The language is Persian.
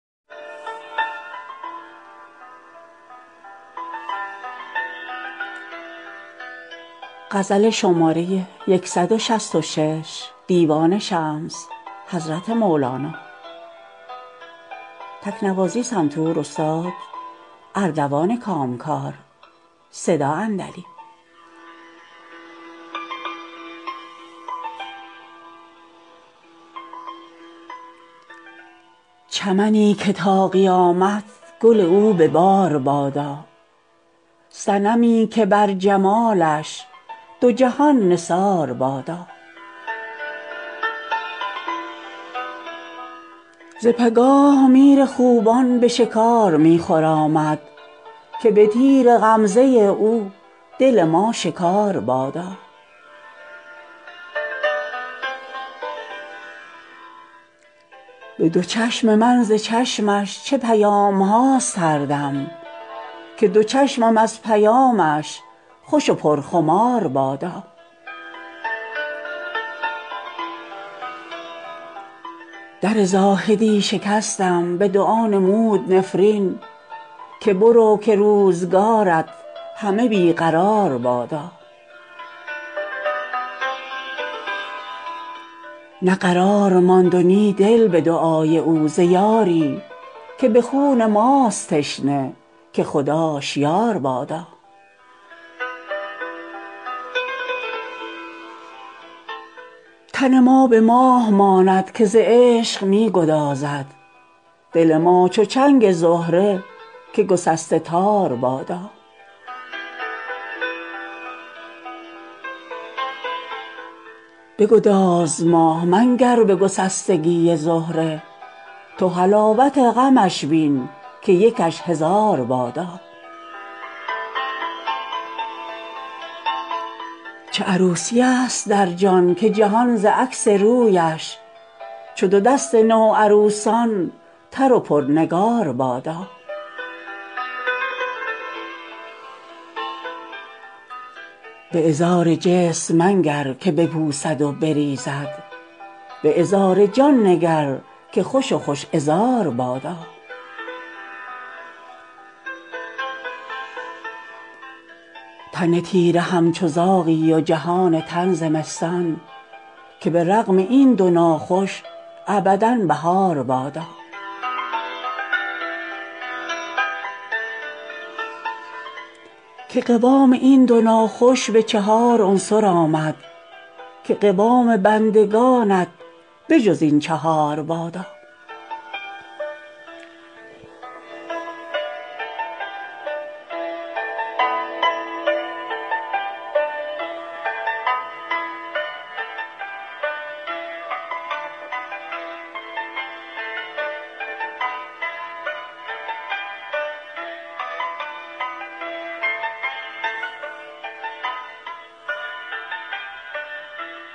چمنی که تا قیامت گل او به بار بادا صنمی که بر جمالش دو جهان نثار بادا ز بگاه میر خوبان به شکار می خرامد که به تیر غمزه او دل ما شکار بادا به دو چشم من ز چشمش چه پیام هاست هر دم که دو چشم از پیامش خوش و پرخمار بادا در زاهدی شکستم به دعا نمود نفرین که برو که روزگارت همه بی قرار بادا نه قرار ماند و نی دل به دعای او ز یاری که به خون ماست تشنه که خداش یار بادا تن ما به ماه ماند که ز عشق می گدازد دل ما چو چنگ زهره که گسسته تار بادا به گداز ماه منگر به گسستگی زهره تو حلاوت غمش بین که یکش هزار بادا چه عروسیست در جان که جهان ز عکس رویش چو دو دست نوعروسان تر و پرنگار بادا به عذار جسم منگر که بپوسد و بریزد به عذار جان نگر که خوش و خوش عذار بادا تن تیره همچو زاغی و جهان تن زمستان که به رغم این دو ناخوش ابدا بهار بادا که قوام این دو ناخوش به چهار عنصر آمد که قوام بندگانت به جز این چهار بادا